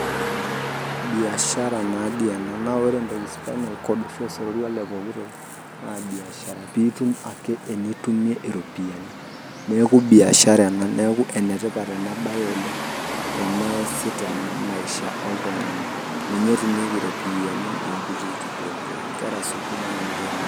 Biashara nadi ena. Na ore entoki spinal cord ashu osororua lepooki toki naa biashara. Pitum ake enitumie iropiyiani. Neeku biashara ena. Neeku enetipat enabae oleng teneesi tena maisha oltung'ani. Ninye etumieki ropiyiani napikieki pooki toki. Inkera sukuul neramatieki irmareita.